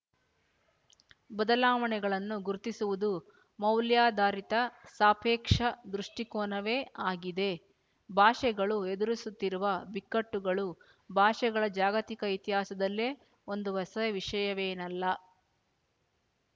ಬದಲಾವಣೆಗಳನ್ನು ಗುರುತಿಸುವುದು ಮೌಲ್ಯಾಧಾರಿತ ಸಾಪೇಕ್ಷ ದೃಷ್ಟಿಕೋನವೇ ಆಗಿದೆ ಭಾಷೆಗಳು ಎದುರಿಸುತ್ತಿರುವ ಬಿಕ್ಕಟ್ಟುಗಳು ಭಾಷೆಗಳ ಜಾಗತಿಕ ಇತಿಹಾಸದಲ್ಲೇ ಒಂದು ಹೊಸ ವಿಶಯವೇನಲ್ಲ